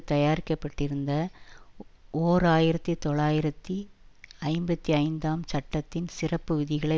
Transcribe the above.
தயாரிக்கப்பட்டிருந்த ஓர் ஆயிரத்தி தொள்ளாயிரத்தி ஐம்பத்தி ஐந்தாம் சட்டத்தின் சிறப்பு விதிகளை